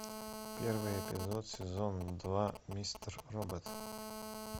первый эпизод сезон два мистер робот